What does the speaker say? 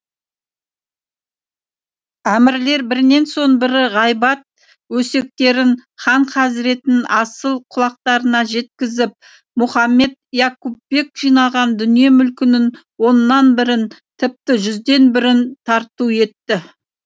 әмірлер бірінен соң бірі ғайбат өсектерін хан хазреттің асыл құлақтарына жеткізіп мұхаммед яқупбек жинаған дүние мүлкінің оннан бірін тіпті жүзден бірін тарту етті